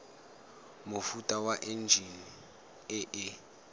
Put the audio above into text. mofuta wa enjine e e